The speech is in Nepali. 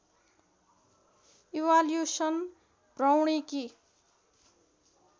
इवाल्यूशन भ्रौणिकी